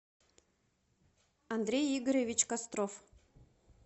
андрей игоревич костров